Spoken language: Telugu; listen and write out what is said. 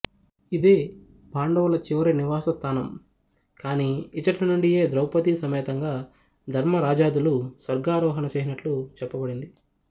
ఇదే పాండవుల చివరి నివాస స్థానం గాని యిచ్ఛటి నుండియే ద్రౌపదీ సమేతంగా ధర్మరాజాదులు స్వర్గారోహణ చేసినట్టు చెప్పబడింది